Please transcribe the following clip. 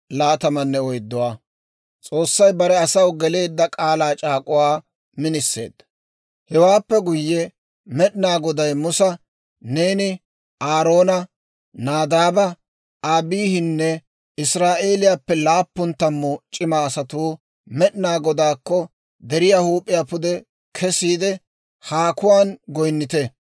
Hewaappe guyye Med'inaa Goday Musa, «Neeni, Aaroone, Naadaabe, Abiihinne Israa'eeliyaappe laappun tammu c'ima asatuu Med'inaa Godaakko deriyaa huup'iyaa pude kesiide haakuwaan goynnite.